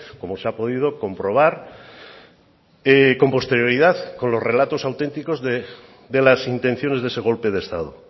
como se ha podido comprobar con posterioridad con los relatos auténticos de las intenciones de ese golpe de estado